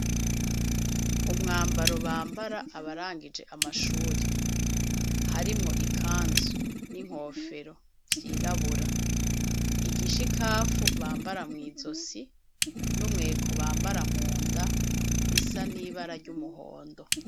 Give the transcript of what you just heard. Umwambaro bambara abarangije amashure harimwo ikanzu n'inkofero vyirabura, igishikafu bambara mw'izosi n'umweko bambara munda bisa n'ibara ry'umuhondo.